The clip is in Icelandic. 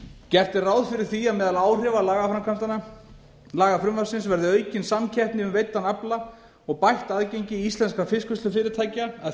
gert er ráð fyrir því að meðal áhrifa lagafrumvarpsins verði aukin samkeppni um veiddan afla og bætt aðgengi íslenskra fiskvinnslufyrirtækja að